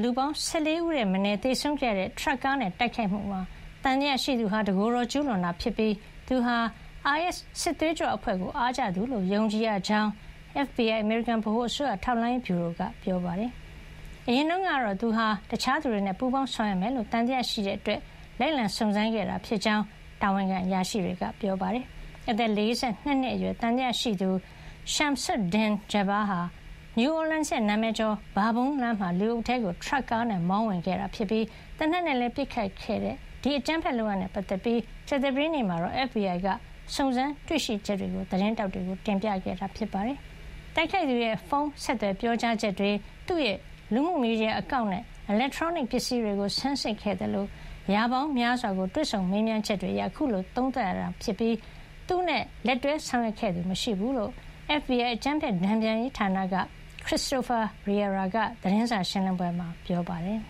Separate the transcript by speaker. Speaker 1: လူပေါင်း ၁၄ ဦးထက်မနည်း သေဆုံးခဲ့ရတဲ့ ထရပ်ကားနဲ့ တိုက်ခိုက်မှုမှာ သံသယရှိသူဟာ တကိုယ်တော် ကျူးလွန်တာ ဖြစ်ပြီး သူဟာ အိုင်အက်စ် စစ်သွေးကြွ အဖွဲ့ကိုအားကျသူလို့ ယုံကြည် ရကြောင်း FBI အမေရိကန် ဗဟိုအစိုးရ ထောက်လှမ်းရေးဗျူရိုက ပြောပါတယ်။ အရင်တုန်းကတော့သူဟာ တခြားသူတွေနဲ့ ပူးပေါင်းဆောင်ရွက်မယ်လို့ သံသယရှိတဲ့ အတွက် လိုက်လံ စုံစမ်းခဲ့တာဖြစ်ကြောင်း တာဝန်ခံ အရာရှိတွေက ပြောပါတယ်။ အသက် ၄၂ နှစ် အရွယ် သံသယရှိသူ Shamsud-Din Jabbar ဟာ New Orleans ရဲ့ နာမည်ကျော် ဘာဘွန်းလမ်းမှာ လူအုပ်ထဲကို ထရပ်ကားနဲ့ မောင်းဝင်ခဲ့ပြီး သေနတ်နဲ့ ပစ်ခတ်ခဲ့တဲ့ ဒီအကြမ်းဖက်လုပ်ရပ်နဲ့ ပတ်သက်ပြီး ကြာသပတေးနေ့ မှာတော့ FBI က စုံစမ်းတွေ့ရှိချက်တွေကို သတင်းထောက်တွေကို တင်ပြခဲ့တာပါ။ တိုက်ခိုက်သူရဲ့ ဖုန်းဆက်သွယ် ပြောကြားချက်တွေ၊ သူ့ရဲ့ လူမှုမီဒီယာ အကောင့်နဲ့ အီလက်ထရောနစ် ပစ္စည်းတွေကို ဆန်းစစ်ခဲ့သလို ရာပေါင်းများစွာကို တွေ့ဆုံမေးမြန်းချက်တွေ အရ အခုလို သုံးသပ်ရတာ ဖြစ်ပြီး၊ သူနဲ့ လက်တွဲ ဆောင်ရွက်ခဲ့သူ မရှိဘူးလို့ FBI အကြမ်းဖက်တန်ပြန်ရေး ဌာန က Christopher Raia က သတင်းစာ ရှင်းလင်းပွဲမှာ ပြ
Speaker 2: ောပါတယ်